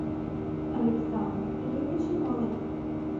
александра игоревича малых